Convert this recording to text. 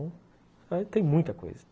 Tem muita coisa